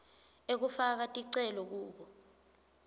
ekufaka ticelo kubo